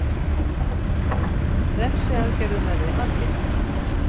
Refsiaðgerðum verði aflétt